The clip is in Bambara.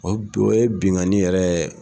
O ye bin o ye binkani yɛrɛ ye